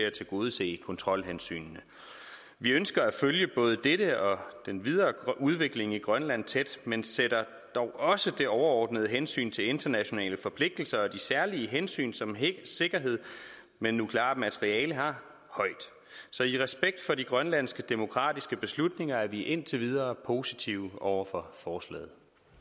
at tilgodese kontrolhensynene vi ønsker at følge både dette og den videre udvikling i grønland tæt men sætter dog også det overordnede hensyn til internationale forpligtelser og de særlige hensyn som hele sikkerheden med nukleart materiale har højt så i respekt for de grønlandske demokratiske beslutninger er vi indtil videre positive over for forslaget